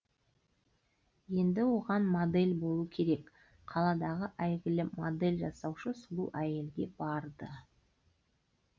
енді оған модель болу керек қаладағы әйгілі модель жасаушы сұлу әйелге барды